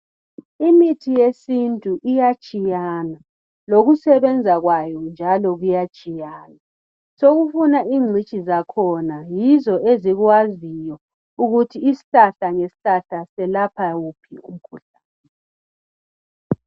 Imithi yesintu iyatshiyana, lokusebenza kwayo njalo kuyatshiyana. Sokufuna ingcitshi zakhona. Yizo ezikwaziyo ukuthi isihlahla ngesihlahla selapha wuphi umkhuhlane.